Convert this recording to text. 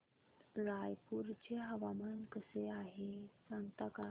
रायपूर चे हवामान कसे आहे सांगता का